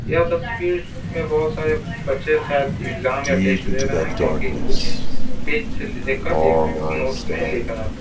यह तस्वीर में बहुत सारे बच्चे शायद एग्जाम या टेस्ट दे रहे हैं क्योंकि कुछ पेज से देखकर एक नोट्स में लिख रहे हैं।